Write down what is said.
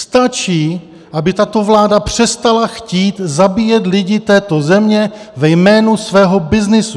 Stačí, aby tato vláda přestala chtít zabíjet lidi této země ve jménu svého byznysu.